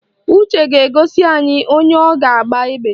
Uche ga-egosi anyị onye ọ ga-agba egbe